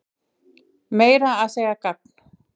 Meira að segja gagn.